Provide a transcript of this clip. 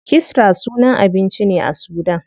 Kisra sunan abinci ne a sudan.